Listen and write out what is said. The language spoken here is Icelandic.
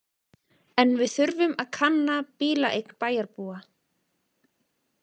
En við þurfum að kanna bílaeign bæjarbúa.